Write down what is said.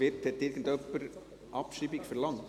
Hat jemand die Abschreibung verlangt?